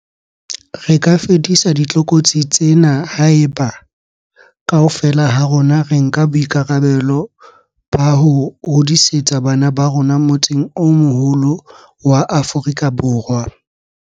Re ka fedisa ditlokotsi tsena haeba, kaofela ha rona re nka boikarabelo ba ho hodisetsa bana ba rona motseng o moholo wa Aforika Borwa.